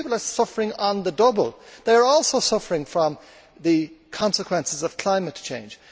These people are suffering doubly they are also suffering from the consequences of climate change.